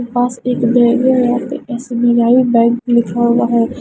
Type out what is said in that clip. पास एक बैग है यहां पे एस_बी_आई बैंक लिखा हुआ है।